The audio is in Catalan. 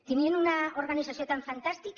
tenien una organització tan fantàstica